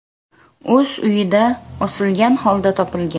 o‘z uyida osilgan holda topilgan.